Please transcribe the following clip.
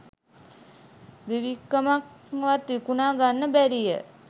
බිබික්කමක්වත් විකුණා ගන්නට බැරිය